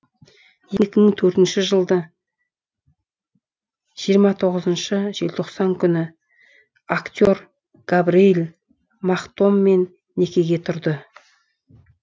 екі мың төртінші жылды жиырма тоғызыншы желтоқсан күні актер габриэл махтоммен некеге тұрды